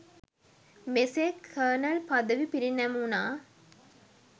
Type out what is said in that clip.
මෙසේ කර්නල් පදවි පිරිනැමුණා